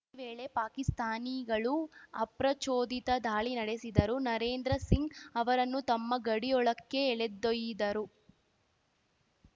ಈ ವೇಳೆ ಪಾಕಿಸ್ತಾನಿಗಳು ಅಪ್ರಚೋದಿತ ದಾಳಿ ನಡೆಸಿದ್ದರು ನರೇಂದ್ರ ಸಿಂಗ್‌ ಅವರನ್ನು ತಮ್ಮ ಗಡಿಯೊಳಕ್ಕೆ ಎಳೆದೊಯ್ದಿದರು